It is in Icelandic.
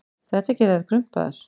Þetta gerir þær krumpaðar.